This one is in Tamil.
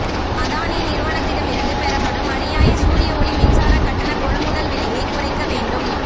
அதானி நிறுவனத்திடமிருந்து பெறப்படும் அநியாய சூரிய ஒளி மின்சாரக் கட்டண கொள்முதல் விலையை குறைக்க வேண்டும்